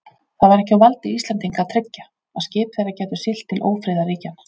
Það var ekki á valdi Íslendinga að tryggja, að skip þeirra gætu siglt til ófriðarríkjanna.